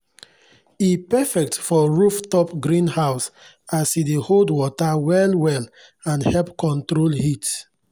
e perfect for rooftop greenhouse as e dey hold water well well and help control heat.